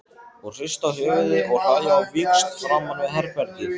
Og hrista höfuðið og hlæja á víxl framan við herbergið.